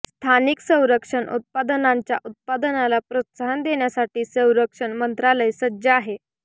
स्थानिक संरक्षण उत्पादनांच्या उत्पादनाला प्रोत्साहन देण्यासाठी संरक्षण मंत्रालय सज्ज आहे